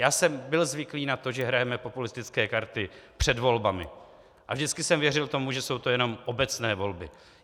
Já jsem byl zvyklý na to, že hrajeme populistické karty před volbami, a vždycky jsem věřil tomu, že jsou to jenom obecné volby.